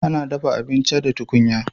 Ana dafa abinci da tukunya.